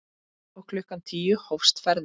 Og klukkan tíu hófst ferðin.